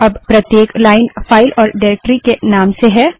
अब प्रत्येक line file और डाइरेक्टरी के नाम से है